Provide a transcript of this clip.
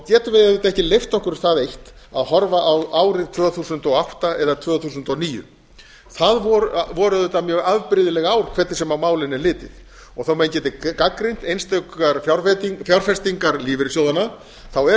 getum við auðvitað ekki leyft okkur það eitt að horfa á árin tvö þúsund og átta eða tvö þúsund og níu það voru auðvitað mjög afbrigðileg ár hvernig sem á málin er litið og þó að menn geti gagnrýnt einstakar fjárfestingar lífeyrissjóðanna er